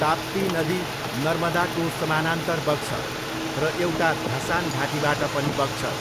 ताप्ती नदी नर्मदाको समानान्तर बग्छ, र एउटा धसान घाटीबाट पनि बग्छ।